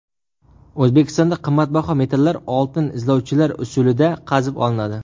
O‘zbekistonda qimmatbaho metallar oltin izlovchilar usulida qazib olinadi.